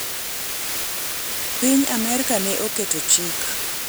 piny Amerka ne oketo chik